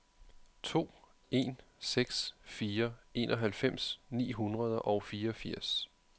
to en seks fire enoghalvfems ni hundrede og fireogfirs